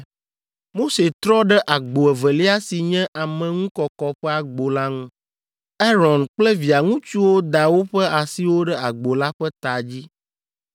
Mose trɔ ɖe agbo evelia si nye ameŋukɔkɔ ƒe agbo la ŋu. Aron kple via ŋutsuwo da woƒe asiwo ɖe agbo la ƒe ta dzi.